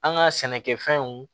An ka sɛnɛkɛfɛnw